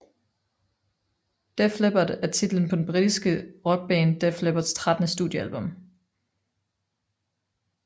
Def Leppard er titlen på det britiske rockband Def Leppards trettende studiealbum